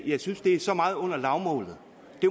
jeg synes det er så meget under lavmålet